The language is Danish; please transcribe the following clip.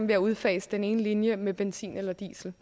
ved at udfase den ene linje med benzin eller diesel